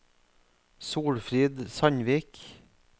Solfrid Sandvik